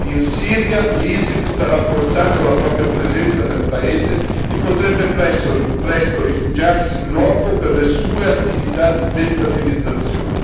In Siria l'ISIL sta rafforzando la propria presenza nel paese e potrebbe presto rifugiarsi in loco per le sue attività di destabilizzazione.